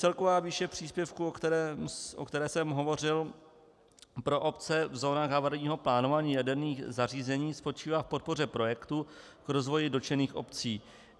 Celková výše příspěvku, o kterém jsem hovořil, pro obce v zónách havarijního plánování jaderných zařízení spočívá v podpoře projektu k rozvoji dotčených obcí.